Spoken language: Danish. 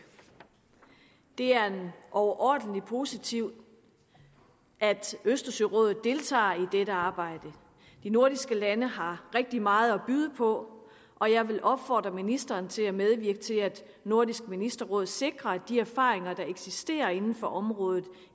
det er overordentlig positivt at østersørådet deltager i dette arbejde de nordiske lande har rigtig meget at byde på og jeg vil opfordre ministeren til at medvirke til at nordisk ministerråd sikrer at de erfaringer der eksisterer inden for området